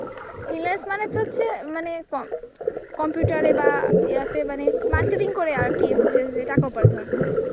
Finance মানে তো হচ্ছে মানে ক~ Computer এ বা যিয়াতে মানে Marketing করে আর কি হচ্ছে যে টাকা উপার্জন.